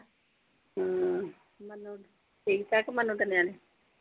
ਹਮ ਮੈਨੂੰ ਠੀਕ ਆ ਕਿ ਮੈਨੂੰ